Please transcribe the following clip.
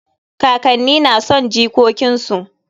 Kakanni na son jikokin su.